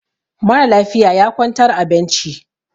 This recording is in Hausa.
mara lafiya ya kwantar a benci